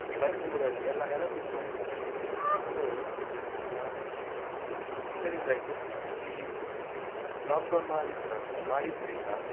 ಬರಿದಿದ್ರಲ್ಲಿ ಎಲ್ಲ ನೆನಪಿತ್ತು ನಂಗೆ. So ಆ ಇದರಿಂದಾಗಿ ಈ lockdown ಮಾಡಿದ್ರ ಮಾಡಿದ್ರಿಂದ.